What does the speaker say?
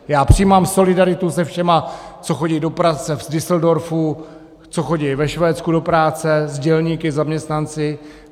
Já přijímám solidaritu se všemi, co chodí do práce v Düsseldorfu, co chodí ve Švédsku do práce, s dělníky, zaměstnanci.